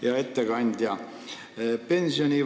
Hea ettekandja!